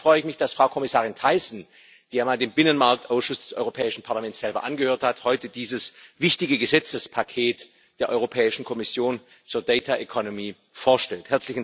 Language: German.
Zum Zweiten freue ich mich, dass Frau Kommissarin Thyssen, die einmal selber dem Binnenmarktausschuss des Europäischen Parlaments angehört hat, heute dieses wichtige Gesetzespaket der Europäischen Kommission zur vorstellt.